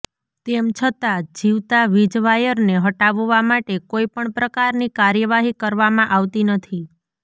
તેમ છતા જીવતા વીજ વાયરને હટાવવા માટે કોઈપણ પ્રકારની કાર્યવાહી કરવામાં આવતી નથી